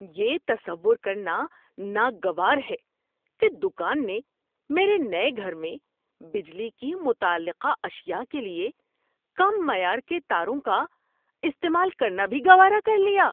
یہ تصور کرنا ناگوار ہے کہ دکان نے میرے نئے گھر میں بجلی کی متعلقہ اشیاء کے لیے کم معیار کے تاروں کا استعمال کرنا بھی گوارا کر لیا۔